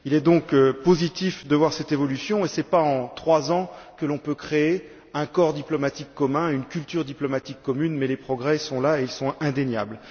Il est donc positif de voir cette évolution et ce n'est pas en trois ans que l'on peut créer un corps diplomatique commun, une culture diplomatique commune, mais les progrès sont là et ils sont indéniables.